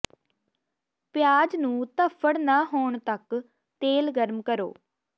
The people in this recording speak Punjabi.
ਪਿਆਜ਼ ਨੂੰ ਧੱਫੜ ਨਾ ਹੋਣ ਤਕ ਤੇਲ ਗਰਮ ਕਰੋ